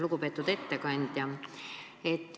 Lugupeetud ettekandja!